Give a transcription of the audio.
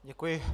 Děkuji.